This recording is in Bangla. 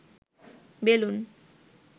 বেলুন